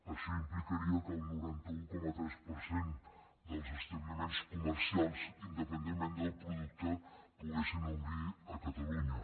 això implicaria que el noranta un coma tres per cent dels establiments comercials independentment del producte poguessin obrir a catalunya